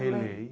Releio